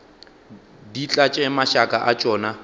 di tlatše mašaka a tšona